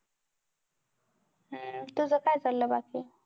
तुझं काय चाललं बाकी?